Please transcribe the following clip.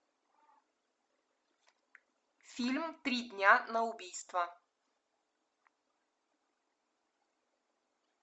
фильм три дня на убийство